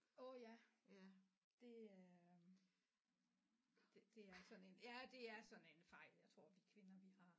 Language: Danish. Åh ja det er det det er sådan en ja det er sådan en fejl jeg tror vi kvinder vi har